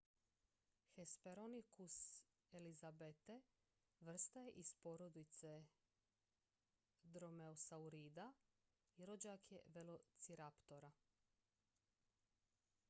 hesperonychus elizabethae vrsta je iz porodice dromeosaurida i rođak je velociraptora